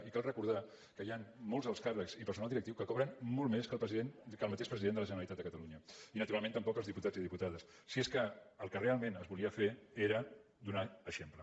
i cal recordar que hi han molts alts càrrecs i personal directiu que cobren molt més que el mateix president de la generalitat de catalunya i naturalment tampoc els diputats i diputades si és que el que realment es volia fer era donar exemple